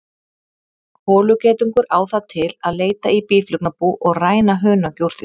Holugeitungur á það til að leita í býflugnabú og ræna hunangi úr því.